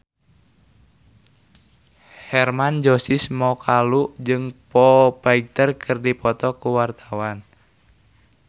Hermann Josis Mokalu jeung Foo Fighter keur dipoto ku wartawan